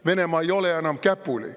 Venemaa ei ole enam käpuli.